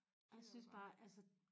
Jeg synes bare altså